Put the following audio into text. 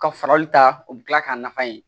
Ka farali ta o bɛ kila k'a nafa ye